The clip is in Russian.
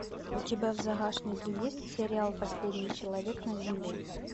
у тебя в загашнике есть сериал последний человек на земле